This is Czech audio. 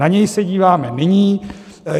Na něj se díváme nyní.